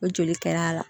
O joli kɛra a la